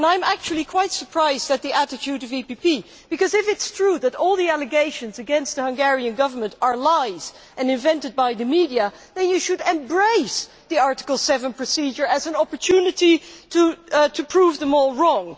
I am actually quite surprised at the attitude of the EPP Group, because if it is true that all the allegations against the Hungarian Government are lies and invented by the media, then it should embrace the Article 7 procedure as an opportunity to prove them all wrong.